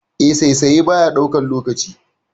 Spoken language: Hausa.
Eh, saisaye baya ɗaukan lokaci.